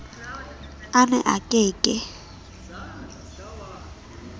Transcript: a ne a ke ke